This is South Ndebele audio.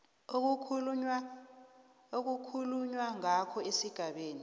okukhulunywa ngayo esigabeni